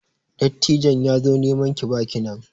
Dattijon ya zo neman ki baki nan.